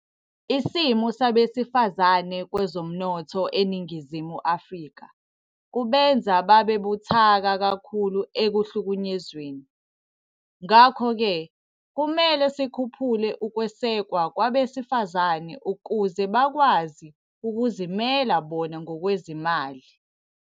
Isimo sabesifazane kwezomnotho eNingizimu Afrika kubenza babe buthaka kakhulu ekuhlukunyezweni. Ngakho-ke kumele sikhuphule ukwesekwa kwabesifazane ukuze bakwazi ukuzimela bona ngokwezimali.